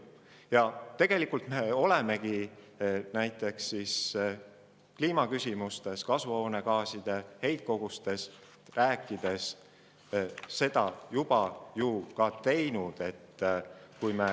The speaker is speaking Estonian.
Ja tegelikult me olemegi seda juba teinud, kui rääkida näiteks kasvuhoonegaaside heitkogustest.